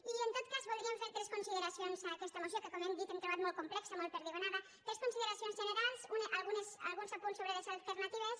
i en tot cas voldríem fer tres consideracions a aquesta moció que com hem dit hem trobat molt complexa molt perdigonada tres consideracions generals i alguns apunts sobre les alternatives